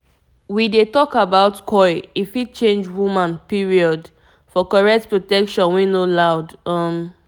we dey talk about coil e fit change woman period - for correct protection wey no loud. um